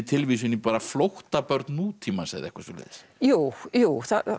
tilvísun í flóttabörn nútímans eða eitthvað svoleiðis jú jú